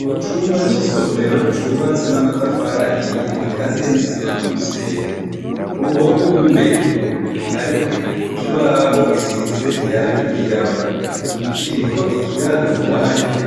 Ku cumba c'isomero cubatse n'amatafari ahiye gikaziye n'isima n'umusenyi. Ku ruhome rw'imbere, harikw'ikibaho gisize irangi ryirabura. Kiriko ikirangamwanya